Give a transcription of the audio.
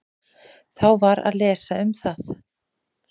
Þá var að lesa um það.